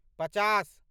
पचास